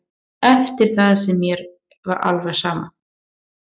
Eftir það var mér alveg sama.